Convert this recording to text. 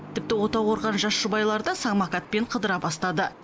тіпті отау құрған жас жұбайлар да самокатпен қыдыра бастады